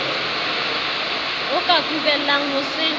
o ka kubellang ho se